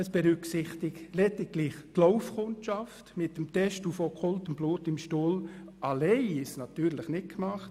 Es berücksichtigt lediglich die Laufkundschaft, und mit dem Test auf okkultes Blut im Stuhl alleine ist es natürlich nicht getan.